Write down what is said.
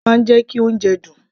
iyọ̀ máa ń jẹ́ kí oúnjẹ dùn